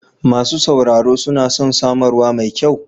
Masu sauraro suna son samarwa mai kyau.